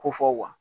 Ko fɔ